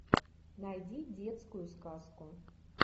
найди детскую сказку